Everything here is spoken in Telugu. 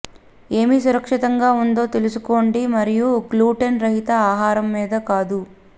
ఏమి సురక్షితంగా ఉందో తెలుసుకోండి మరియు గ్లూటెన్ రహిత ఆహారం మీద కాదు